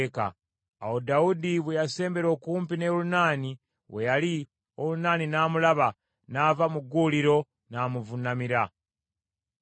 Awo Dawudi bwe yasembera okumpi ne Olunaani we yali, Olunaani n’amulaba, n’ava mu gguuliro, n’amuvuunamira.